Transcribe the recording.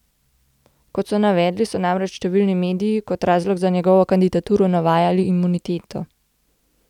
Kot so navedli, so namreč številni mediji kot razlog za njegovo kandidaturo navajali imuniteto.